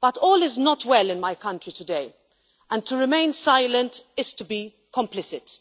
But all is not well in my country today, and to remain silent is to be complicit.